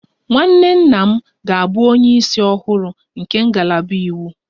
Nwanne nna m ga-abụ onye isi ọhụrụ nke ngalaba iwu